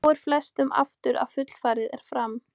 Þá fer flestum aftur að fullfarið er fram.